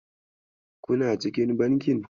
Kuna cikin bankin?